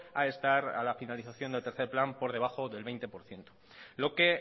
a estar a la finalización del tercer plan por debajo del veinte por ciento lo que